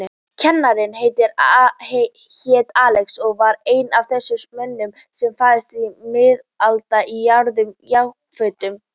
Kennarinn hét Axel og var einn af þessum mönnum sem fæðast miðaldra í gráum jakkafötum.